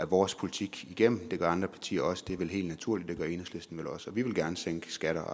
vores politik igennem det gør andre partier også og det er vel helt naturligt det gør enhedslisten vel også og vi vil gerne sænke skatter